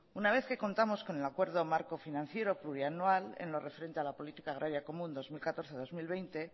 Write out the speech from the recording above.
una vez que contamos con el acuerdo marco financiero plurianual en lo referente a la política agraria común dos mil catorce dos mil veinte